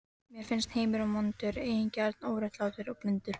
Mér finnst heimurinn vondur, eigingjarn, óréttlátur og blindur.